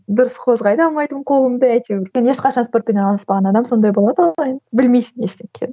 дұрыс қозғай да алмайтынмын қолымды әйтеуір енді ешқашан спортпен айналыспаған адам сондай болады ғой білмейсің ештеңе